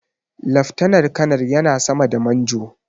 Laftanar kanar yana sama da Manjo.